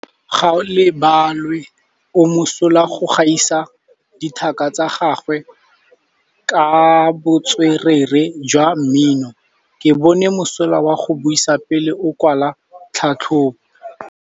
Gaolebalwe o mosola go gaisa dithaka tsa gagwe ka botswerere jwa mmino. Ke bone mosola wa go buisa pele o kwala tlhatlhobô.